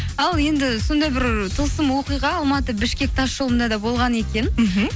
ал енді сондай бір тылсым оқиға алматы бішкек тасжолында да болған екен мхм